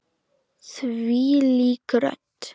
Þvílík rödd!